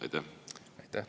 Aitäh!